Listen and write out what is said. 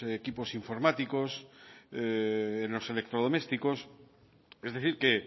equipos informáticos en los electrodomésticos es decir que